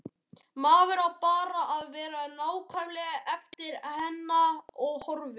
Maður á bara að vera nákvæmlega eftir hennar höfði.